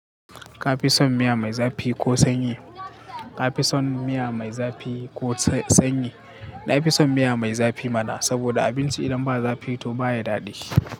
Ka fi son miya mai zafi ko sanyi? Ka fi son miya mai zafi ko sanyi? Na fi son miya mai zafi mana, saboda abinci idan ba zafi to baya daɗi.